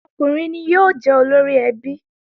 Ọkùnrin ni yóò jẹ́ olóríẹbí